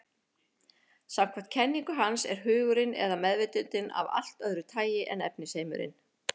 Samkvæmt kenningu hans er hugurinn, eða meðvitundin, af allt öðru tagi en efnisheimurinn.